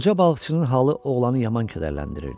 Qoca balıqçının halı oğlanı yaman kədərləndirirdi.